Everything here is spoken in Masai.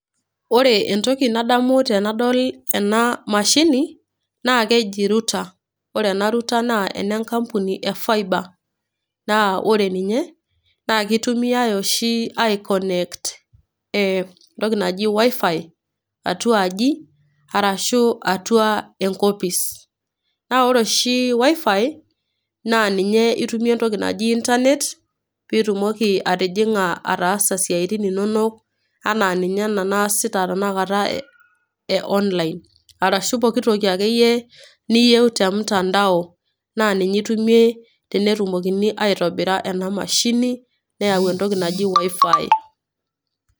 Ore entoki nadamu tenadol ena mashini naa keji router. Ore ena router naa ene enkampuni e Faiba naa ore ninye naa keitumiai oshi aikonekt entoki naji WiFi, atuaji arashu atua enkopis, naa ore oshi WiFi, naa ninye itumie entoki naji internet piitumoki atijing'a ataasa isiaitin inono ana ninye ena naasita tenakata e online. Arashu pookitoki ake iyie niyiou te mutandao naa ninye itumie tenetumokini aitobira ena neyau entoki naji WiFi.